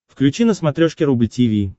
включи на смотрешке рубль ти ви